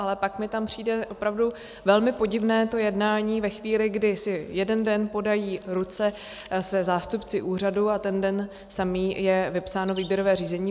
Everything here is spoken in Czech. Ale pak mi tam přijde opravdu velmi podivné to jednání ve chvíli, kdy si jeden den podají ruce se zástupci úřadu, a ten samý den je vypsáno výběrové řízení.